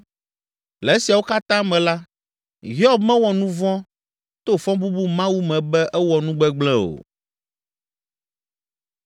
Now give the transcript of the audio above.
Le esiawo katã me la, Hiob mewɔ nu vɔ̃ to fɔbubu Mawu me be ewɔ nu gbegblẽ o.